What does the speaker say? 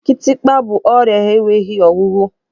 Kitikpa bụ ọrịa enweghị ọgwụgwọ.